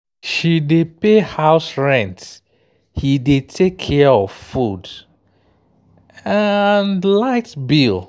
she dey pay house rent he dey take care of food and light bill.